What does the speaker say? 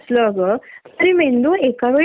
इतकी ट्राफिक नऊ ते सहा